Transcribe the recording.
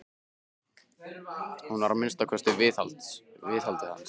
Hún var að minnsta kosti viðhaldið hans.